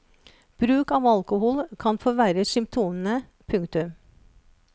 Bruk av alkohol kan forverre symptomene. punktum